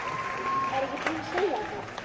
Var ég ekki búin að segja þér það?